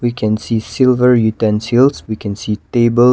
we can see silver utensils we can see tables